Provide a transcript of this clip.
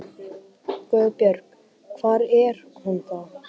GUÐBJÖRG: Hvar er hún þá?